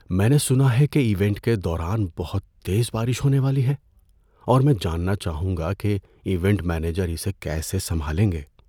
میں نے سنا ہے کہ ایونٹ کے دوران بہت تیز بارش ہونے والی ہے اور میں جاننا چاہوں گا کہ ایونٹ مینیجر اسے کیسے سنبھالیں گے۔